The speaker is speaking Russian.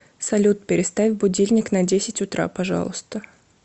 салют переставь будильник на десять утра пожалуйста